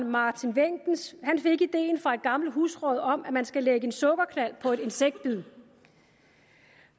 martin wenckens fik idéen fra et gammelt husråd om at man skal lægge en sukkerknald på et insektbid